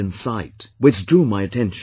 in site, which drew my attention